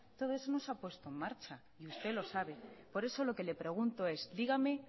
todo eso no se ha puesto en marcha y usted lo sabe por eso lo que le pregunto es dígame